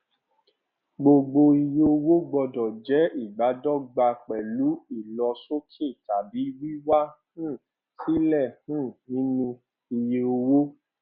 gbogbo iye owó gbọdọ jẹ ìbádọgba pẹlú ìlosókè tàbí wíwá um sílẹ um nínú iye owó